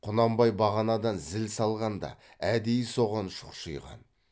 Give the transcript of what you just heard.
құнанбай бағанадан зіл салғанда әдейі соған шұқшиған